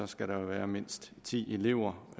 skal der være mindst ti elever